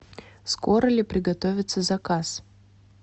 скоро ли приготовится заказ